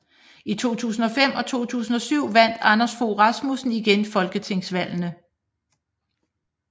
I 2005 og 2007 vandt Anders Fogh Rasmussen igen folketingsvalgene